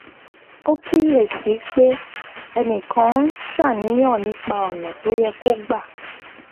ó kíyè sí i pé ẹnì kan ń ṣàníyàn nípa ònà tó yẹ kó gbà